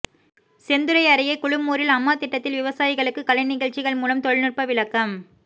செந்துறை அருகே குழுமூரில் அட்மா திட்டத்தில் விவசாயிகளுக்கு கலைநிகழ்ச்சிகள் மூலம் தொழில்நுட்ப விளக்கம்